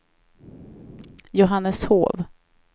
Johanneshov